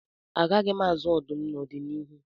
Agaghị m azụ ọdụm n'ọdịnihu